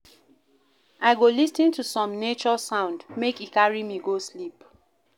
I go lis ten to some nature sound, make e carry me go sleep.